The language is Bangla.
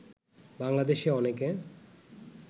বাংলাদেশে অনেকে